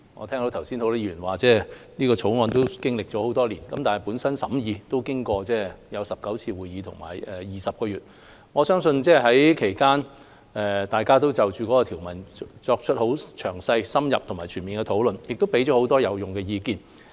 剛才很多議員說這《條例草案》已經歷多年，本身審議工作已經過19次會議、20個月，其間大家也就其條文作出了詳細、深入及全面的討論，並給予很多有用的意見。